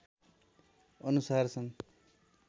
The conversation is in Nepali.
अनुसार सन्